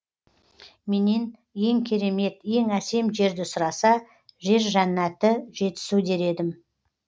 менен ең керемет ең әсем жерді сұраса жер жәннаты жетісу дер едім